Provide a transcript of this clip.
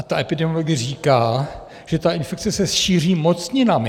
A ta epidemiologie říká, že ta infekce se šíří mocninami.